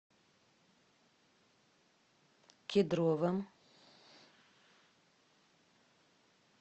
кедровом